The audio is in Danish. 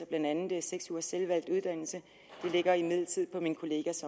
blandt andet seks ugers selvvalgt uddannelse det ligger imidlertid på min kollegas